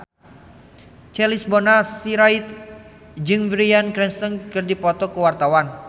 Charles Bonar Sirait jeung Bryan Cranston keur dipoto ku wartawan